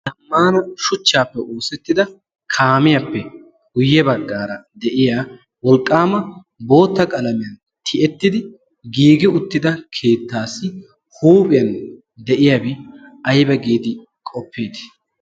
Ammaana shuchchaappe oosettida kaamiyaappe guyye baggaara de'iya wolqqaama bootta qalamiyan tiyettidi giigi uttida keettaassi huuphiyan de'iyaabi ayba giidi qoppeeti?